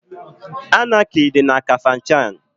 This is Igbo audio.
Anaki dị na Kafanchan.